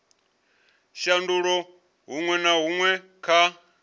shandula huṅwe na huṅwe kha